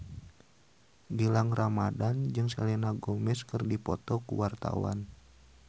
Gilang Ramadan jeung Selena Gomez keur dipoto ku wartawan